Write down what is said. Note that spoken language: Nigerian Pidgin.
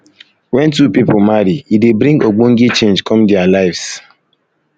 when two pipo marry e dey bring ogbonge change come their lives